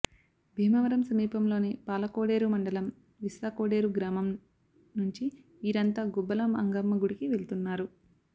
భీమవరం సమీపంలోని పాలకోడేరు మండలం విస్సాకోడేరు గ్రామం నుంచి వీరంతా గుబ్బల మంగమ్మ గుడికి వెళ్తున్నారు